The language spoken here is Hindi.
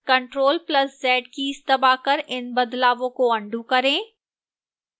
ctrl + z कीज़ दबाकर इन बदलावों को अन्डू करें